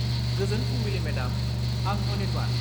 गोजोन फुंबिलि मेडाम, आं अनिर्बान।